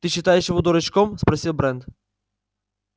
ты считаешь его дурачком спросил брент